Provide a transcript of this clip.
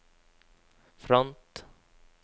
front